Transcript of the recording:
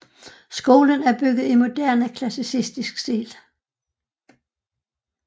Skolen er bygget i moderne klassicistisk stil